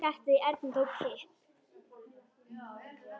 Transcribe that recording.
Hjartað í Erni tók kipp.